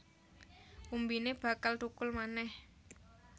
Umbine bakal thukul manèh